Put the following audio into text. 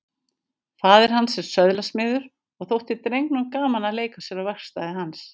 Faðir hans var söðlasmiður og þótti drengnum gaman að leika sér á verkstæði hans.